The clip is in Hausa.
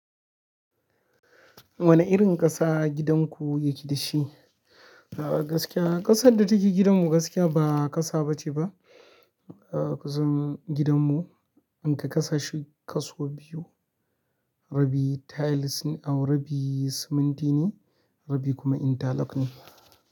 Wane irin ƙasa gidan ku yake da shi? A gaskiya ƙasar da take gidanmu gaskiya ba ƙasa bace ba. A ƙasan gidanmu inka kasa shi kaso biyu, rabi tiles au rabi siminti ne, rabi kuma intalok ne.